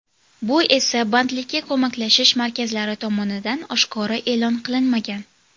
Bu esa bandlikka ko‘maklashish markazlari tomonidan oshkora e’lon qilinmagan.